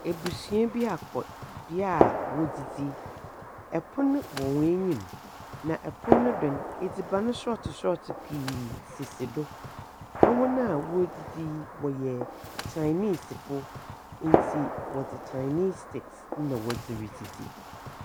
Ebusua bi akɔ bea a wodzidzi, pon wɔ hɔn enyim, na pon no do no, edziban sɔɔtse sɔɔtse bebree sisi do, hɔn a woridzidzi no, wɔyɛ Chinesefo ntsi, wɔdze Chinese sticks na wɔdze ridzidzi.